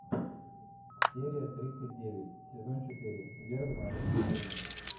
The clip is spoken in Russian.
серия тридцать девять сезон четыре вербное воскресенье